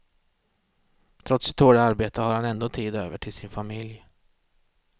Trots sitt hårda arbete har han ändå tid över till sin familj.